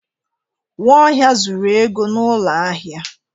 Nwaohia zuru ego n'ụlọ ahịa.